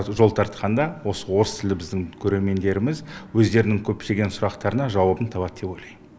жол тартқанда осы орыс тілді біздің көрермендеріміз өздерінің көптеген сұрақтарына жауабын табады деп ойлаймын